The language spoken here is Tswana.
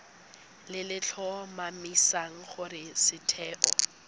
le le tlhomamisang gore setheo